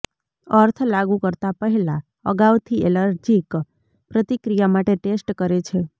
અર્થ લાગુ કરતા પહેલા અગાઉથી એલર્જીક પ્રતિક્રિયા માટે ટેસ્ટ કરે છે